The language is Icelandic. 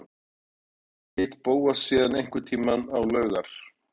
Smári hafði ekki hitt Bóas síðan einhvern tíma á laugar